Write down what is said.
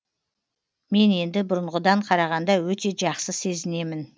мен енді бұрынғыдан қарағанда өте жақсы сезінемін